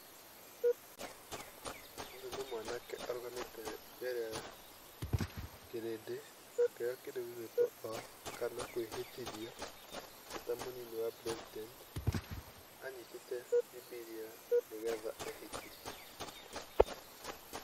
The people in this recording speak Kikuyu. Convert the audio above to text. Ũyũ nĩ mwanake arũgamĩte mbere ya kĩrindĩ akĩoya kĩndũ gĩgwĩtwo oath kana kwĩhĩtithio, eta mũnini wa President, anyitĩte Bibiria nĩgetha ehĩtithio.